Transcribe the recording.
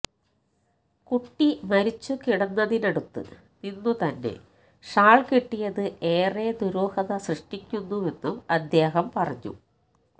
കുട്ടി മരിച്ചുകിടന്നതിനടുത്ത് നിന്നുതന്നെ ഷാൾ കിട്ടിയത് ഏറെ ദുരൂഹത സൃഷ്ടിക്കുന്നുവെന്നും അദ്ദേഹം പറഞ്ഞു